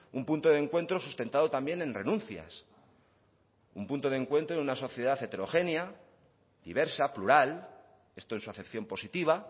un punto de encuentro sustentado también en renuncias un punto de encuentro en una sociedad heterogénea diversa plural esto en su acepción positiva